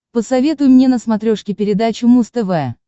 посоветуй мне на смотрешке передачу муз тв